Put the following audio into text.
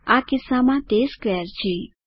આ કિસ્સામાં તે સ્ક્વેર છે